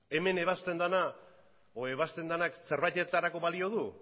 hemen ebazten denak zerbaitetarako balio du